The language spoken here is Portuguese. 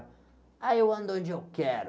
Ai, eu ando onde eu quero.